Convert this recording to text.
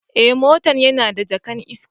Eh, motan yana da jaka'n iska.